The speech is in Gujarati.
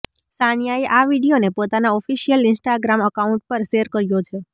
સાનિયાએ આ વીડિયોને પોતાના ઓફિશિયલ ઈન્સ્ટાગ્રામ અકાઉંટ પર શેર કર્યો છે